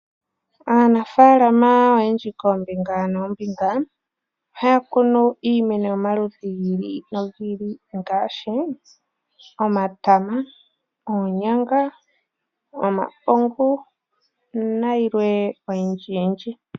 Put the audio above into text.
Aanafaalama oyendji koombinga noombinga ohaya kunu iimeno yiili noyiili ngaashi omatama, oonyanga , omapungu nayilwe oyindjiyindji.